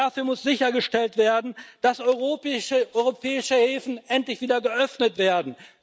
Dafür muss sichergestellt werden, dass europäische Häfen endlich wieder geöffnet werden.